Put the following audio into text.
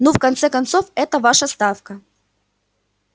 ну в конце концов эта ваша ставка